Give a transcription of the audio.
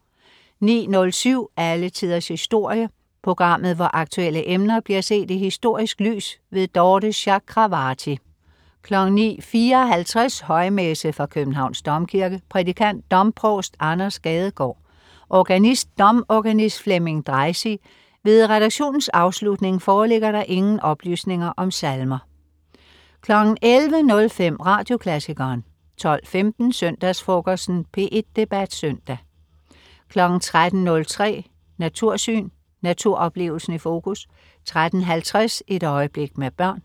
09.07 Alle Tiders Historie. Programmet hvor aktuelle emner bliver set i historisk lys. Dorthe Chakravarty 09.54 Højmesse. Fra Københavns Domkirke. Prædikant: Domprovst Anders Gadegaard. Organist: Domorganist Flemming Dreisig. Ved redaktionens afslutning foreligger der ingen oplysninger om salmer 11.05 Radioklassikeren 12.15 Søndagsfrokosten. P1 Debat Søndag 13.03 Natursyn. Naturoplevelsen i fokus 13.50 Et øjeblik med børn